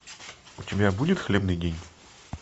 у тебя будет хлебный день